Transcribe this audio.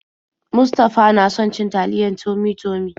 Mustafa na son cin taliyar Tummy-Tummy.